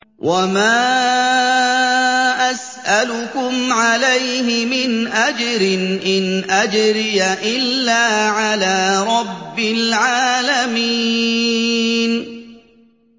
وَمَا أَسْأَلُكُمْ عَلَيْهِ مِنْ أَجْرٍ ۖ إِنْ أَجْرِيَ إِلَّا عَلَىٰ رَبِّ الْعَالَمِينَ